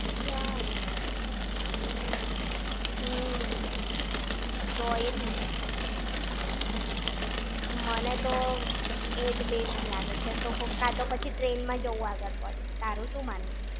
ચાલે! હમ્મ. તો એ જ ને. મને તો, એ જ best લાગે છે તો, કાં તો પછી train માં જવું આગળ પડે. તારું શું માનવું છે?